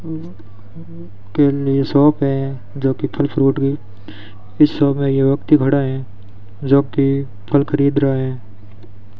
केले शॉप है जो कि फल फ्रूट की शॉप है यह व्यक्ति खड़ा है जो कि फल खरीद रहा है।